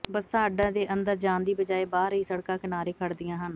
ਬੱਸਾਂ ਅੱਡੇ ਦੇ ਅੰਦਰ ਜਾਣ ਦੀ ਬਜਾਏ ਬਾਹਰ ਹੀ ਸੜਕਾਂ ਕਿਨਾਰੇ ਖੜ੍ਹਦੀਆਂ ਹਨ